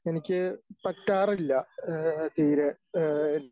എനിക്ക് പറ്റാറില്ല ഏഹ് തീരെ ഏഹ്